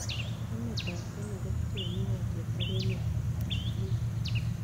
Emetap kenya kopchee kiwotet ak emetap tanzania